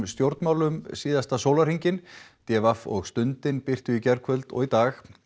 stjórnmálum síðasta sólarhringinn d v og Stundin birtu í gærkvöld og í dag